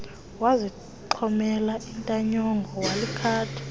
wazixhomela intanyongo walikhetha